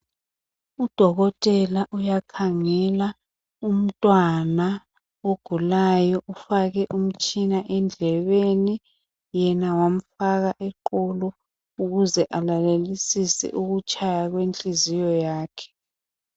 Udokotela uyakhangela umntwana ogulayo ufake umtshina endlebeni yena wamfaka eqolo ukuze alalelisise ukutshaya kwenhliziyo yakhe.